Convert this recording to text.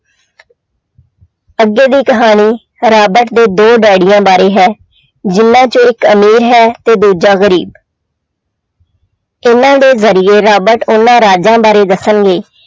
ਅੱਗੇ ਦੀ ਕਹਾਣੀ ਰਾਬਟ ਦੇ ਦੋ ਡੈਡੀਆਂ ਬਾਰੇ ਹੈ ਜਿਹਨਾਂ ਚੋਂ ਇੱਕ ਅਮੀਰ ਹੈ ਤੇ ਦੂਜਾ ਗ਼ਰੀਬ ਇਹਨਾਂ ਦੇ ਜ਼ਰੀਏ ਰਾਬਟ ਉਹਨਾਂ ਰਾਜਾਂ ਬਾਰੇ ਦੱਸਣਗੇ।